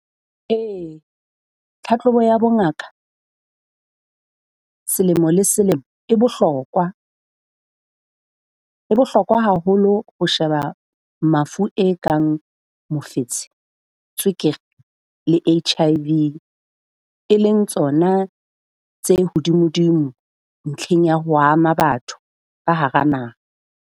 Ee tlhahlobo ya bongaka selemo le selemo e bohlokwa. E bohlokwa haholo ho sheba mafu e kang mofetshe, tswekere le H_I_V, e leng tsona tse hodimo-dimo ntlheng ya ho ama batho ka hara naha.